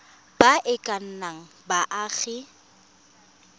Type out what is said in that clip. ba e ka nnang baagi